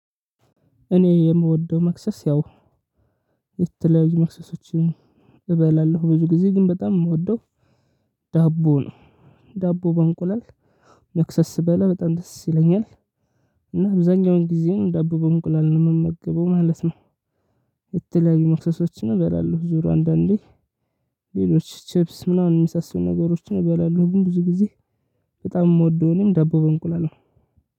እኔ የምወደው መክሰስ ያው የተለያዩ መክሰሶችን እበላለሁ ብዙ ጊዜ ግን በጣም የምወደው ዳቦ ነው። ዳቦ በእንቁላል መክሰስ ስበላ በጣም ደስ ይለኛል። እና አብዛኛውን ጊዜ ዳቦ በእንቁላል ነው የምመግበው ማለት ነው። የተለያዩ መክሰሶች እበላለሁ ዙሩ አንዳንዴ ሌሎች ቺፕስ ምናምን የመሳስሉ ነገሮችን እበላለሁ ብዙ ጊዜ። በጣም የምወደው እኔም ዳቦ በእንቁላል ነው